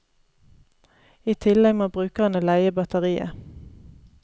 I tillegg må brukerne leie batteriet.